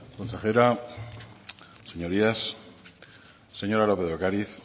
consejera señorías señora lópez de ocariz